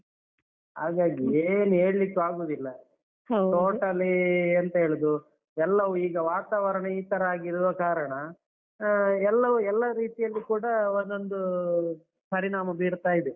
ಹಾಗಾಗಿ ಏನ್ ಹೇಳ್ಳಿಕ್ಕೂ ಆಗುದಿಲ್ಲ. totally ಎಂತ ಹೇಳುದು ಎಲ್ಲವೂ ಈಗ ವಾತಾವರಣ ಈ ತರ ಆಗಿರುವ ಇರುವ ಕಾರಣ, ಆ ಎಲ್ಲವೂ ಎಲ್ಲ ರೀತಿಯಲ್ಲೂ ಕೂಡ ಒಂದೊಂದು ಪರಿಣಾಮ ಬೀರ್ತಾ ಇದೇ.